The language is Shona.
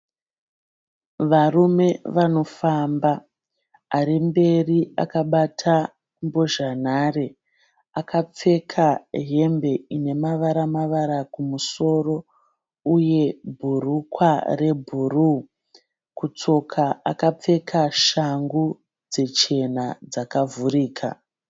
Varume vanofamba, arimberi akabata mbozhanhare. Akapfeka hembe inemavara-mavara kumusoro uye bhurukwa rebhuruu. Kutsoka akapfeka shangu dzichena dzakavhurika.